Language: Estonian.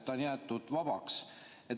See on jäetud vabaks.